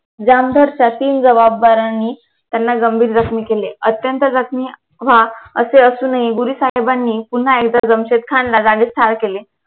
जामधारच्या तीन जबाबदारांनी त्यांना गंभीर जखमी केले अत्यंत जखमी व्हा असे असूनही गुरु साहेबानी पुन्हा एकदा जमशेद खानला जागीच ठार केले